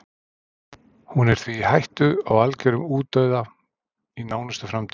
Hún er því í hættu á algjörum útdauða í nánustu framtíð.